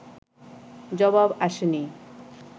জবাব আসে নি